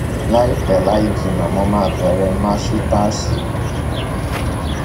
láìpẹ láì jìnnà mo máa bẹrẹ màsítáàsì mi